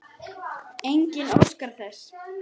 Enginn óskar þess.